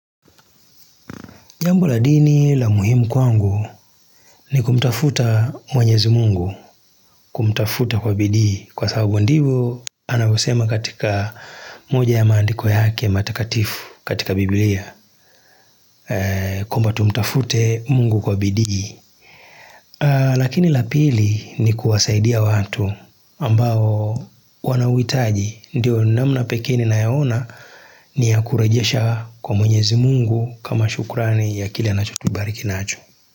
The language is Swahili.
Jambo la dini la muhimu kwangu ni kumtafuta mwenyezi Mungu, kumtafuta kwa bidhii kwa sababu ndivyo anavyosema katika moja ya maandiko yake matakatifu katika bibilia, kwamba tumtafute Mungu kwa bidhii. Lakini lapili ni kuwasaidia watu ambao wanauhitaji, ndiyo namna pekee ninayaona ni ya kurejesha kwa mwenyezi Mungu kama shukrani ya kile anacho tubariki nacho.